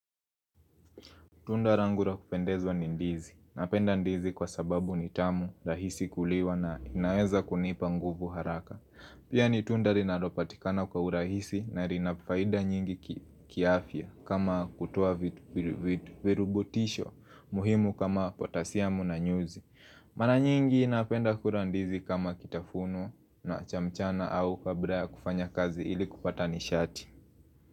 Tunda langu la kupendezwa ni ndizi. Napenda ndizi kwa sababu ni tamu, rahisi kuliwa na inaeza kunipa nguvu haraka. Pia ni tunda linalopatikana kwa urahisi na lina faida nyingi kiafya kama kutoa virubutisho muhimu kama potasiamu na nyuzi. Mara nyingi napenda kula ndizi kama kitafuno na cha mchana au kabla ya kufanya kazi ili kupata nishati.